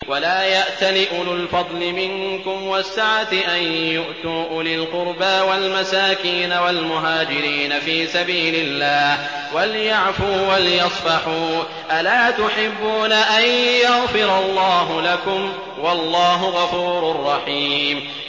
وَلَا يَأْتَلِ أُولُو الْفَضْلِ مِنكُمْ وَالسَّعَةِ أَن يُؤْتُوا أُولِي الْقُرْبَىٰ وَالْمَسَاكِينَ وَالْمُهَاجِرِينَ فِي سَبِيلِ اللَّهِ ۖ وَلْيَعْفُوا وَلْيَصْفَحُوا ۗ أَلَا تُحِبُّونَ أَن يَغْفِرَ اللَّهُ لَكُمْ ۗ وَاللَّهُ غَفُورٌ رَّحِيمٌ